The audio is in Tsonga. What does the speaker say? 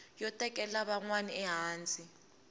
yo tekela van wana ehansi